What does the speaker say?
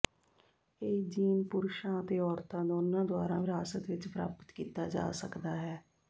ਇਹ ਜੀਨ ਪੁਰਸ਼ਾਂ ਅਤੇ ਔਰਤਾਂ ਦੋਨਾਂ ਦੁਆਰਾ ਵਿਰਾਸਤ ਵਿੱਚ ਪ੍ਰਾਪਤ ਕੀਤਾ ਜਾ ਸਕਦਾ ਹੈ